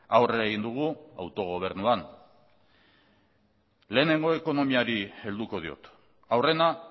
aurrera egin dugu autogobernuan lehenengo ekonomiari helduko diot aurrena